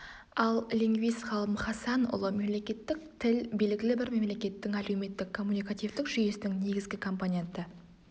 ал лингвист-ғалым хасанұлы мемлекеттік тіл белгілі бір мемлекеттің әлеуметтік-коммуникативтік жүйесінің негізгі компоненті